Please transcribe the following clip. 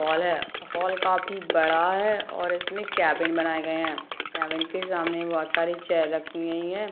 --Hall है hall काफी बड़ा है और इसमें कैबिन बनाए गए है कैबिन के सामने बहुत सारी चेयर रखी गई है।